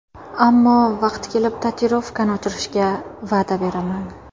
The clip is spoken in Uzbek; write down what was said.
Ammo vaqti kelib tatuirovkani o‘chirishga va’da beraman.